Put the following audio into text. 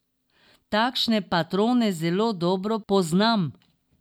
Takšne patrone zelo dobro poznam.